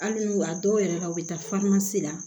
Hali n'u a dɔw yɛrɛ la u bɛ taa la